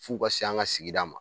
F'u ka se an ka sigida ma